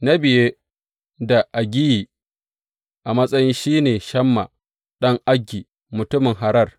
Na biye da Agiyi a matsayi, shi ne Shamma ɗan Agi, mutumin Harar.